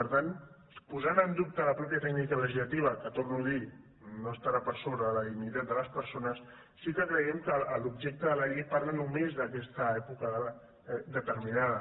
per tant posant en dubte la mateixa tècnica legislativa que ho torno a dir no estarà per sobre de la dignitat de les persones sí que creiem que l’objecte de la llei parla només d’aquesta època determinada